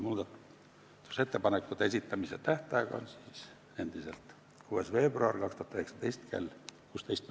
Muudatusettepanekute esitamise tähtaeg on endiselt 6. veebruar 2019 kell 16.